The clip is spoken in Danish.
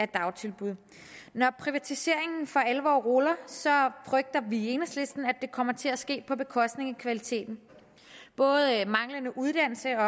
dagtilbud når privatiseringen for alvor ruller frygter vi i enhedslisten at det kommer til at ske på bekostning af kvaliteten både manglende uddannelse